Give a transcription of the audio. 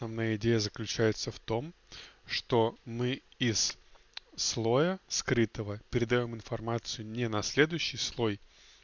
а моя идея заключается в том что мы из слоя скрытого передаём информацию не на следующий слой